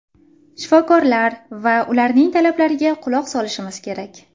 Shifokorlar va ularning talablariga quloq solishimiz kerak.